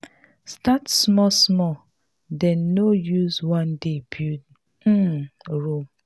start small small dem no use one day build um rome